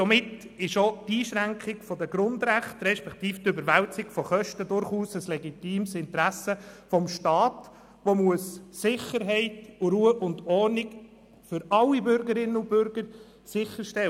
Somit ist auch die Einschränkung der Grundrechte respektive die Überwälzung von Kosten durchaus ein legitimes Interesse des Staats, der die Sicherheit aller Bürgerinnen und Bürger gewährleisten muss.